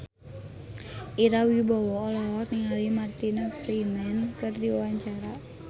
Ira Wibowo olohok ningali Martin Freeman keur diwawancara